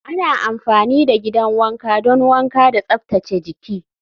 Ana amfani da gidan wanka don wanka da tsaftace jiki.